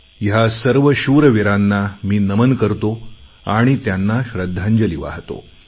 ह्या सर्व शूरवीरांना मी नमन करतो आणि त्यांना श्रद्धांजली वाहतो